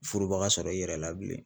Furuba sɔrɔ i yɛrɛ la bilen